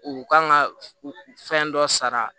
U kan ka fɛn dɔ sara